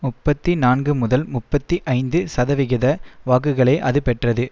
முப்பத்தி நான்கு முதல் முப்பத்தி ஐந்து சதவிகித வாக்குகளை அது பெற்றது